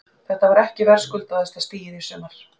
Þetta var ekki verðskuldaðasta stigið í sumar?